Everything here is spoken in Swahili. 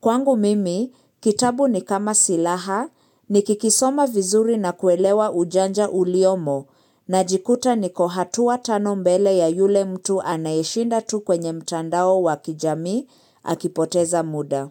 Kwangu mimi, kitabu ni kama silaha, ni kikisoma vizuri na kuelewa ujanja uliomo, najikuta niko hatua tano mbele ya yule mtu anayeshinda tu kwenye mtandao wa kijamii akipoteza muda.